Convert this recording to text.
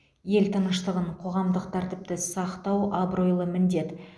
ел тыныштығын қоғамдық тәртіпті сақтау абыройлы міндет